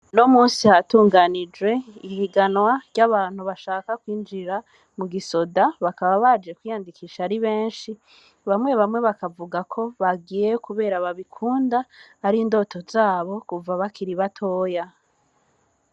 Uno musi hatunganijwe ihiganwa ry'abantu bashaka kwinjira mu gisoda bakaba baje kwiyandikisha ari beshi bamwe bamwe bakavuga ko bagiye kubera babikunda ari indoto zabo kuva bakiri batoya